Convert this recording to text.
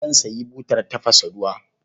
Zan sayi butar tafasa ruwa.